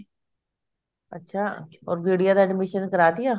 ਅੱਛਾ or ਗੁਡੀਆ ਦਾ admission ਕਰਾ ਦੀਆ